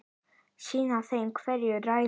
Sýna þeim hver ræður.